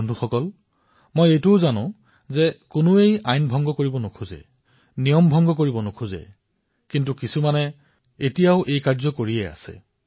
লগতে মই এয়াও জানো যে কোনেও আইন ভংগ কৰিবলৈ নিবিচাৰে নিয়ম ভংগ কৰিবলৈ নিবিচাৰে কিন্তু কিছুমান লোকে এনেকুৱা কৰি আছে